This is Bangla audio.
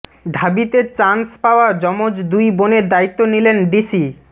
ঢাবিতে চান্স পাওয়া জমজ দুই বোনের দায়িত্ব নিলেন ডিসি